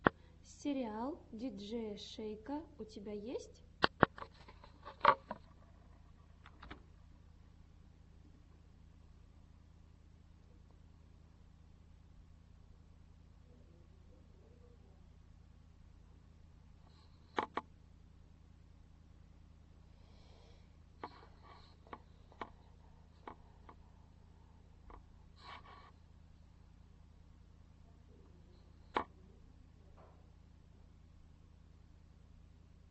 сериал диджея шейка у тебя есть